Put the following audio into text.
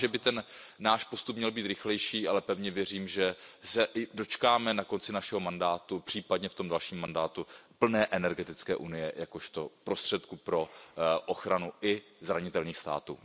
Možná, že by náš postup měl být rychlejší, ale pevně věřím, že se dočkáme na konci našeho mandátu, případně v tom dalším mandátu plné energetické unie, jakožto prostředku pro ochranu i zranitelných států.